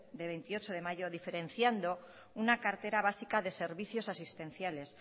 de veintiocho de mayo diferenciando una cartera básica de servicios asistenciales